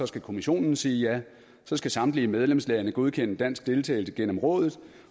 skal kommissionen sige ja så skal samtlige medlemslande godkende dansk deltagelse gennem rådet